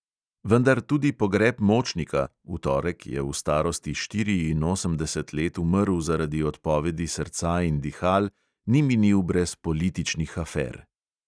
Vendar tudi pogreb močnika – v torek je v starosti štiriinosemdeset let umrl zaradi odpovedi srca in dihal – ni minil brez političnih afer.